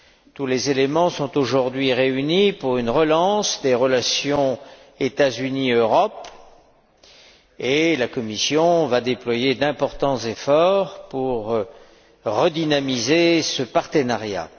Tous les éléments sont aujourd'hui réunis pour une relance des relations États Unis Europe, et la Commission va déployer d'importants efforts pour redynamiser ce partenariat.